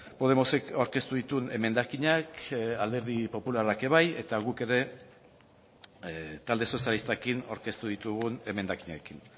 podemosek aurkeztu dituen emendakinak alderdi popularrak ere bai eta guk ere talde sozialistarekin aurkeztu ditugun emendakinekin